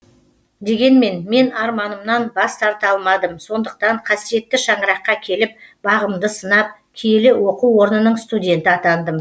дегенмен мен арманымнан бас тарта алмадым сондықтан қасиетті шаңыраққа келіп бағымды сынап киелі оқу орнының студенті атандым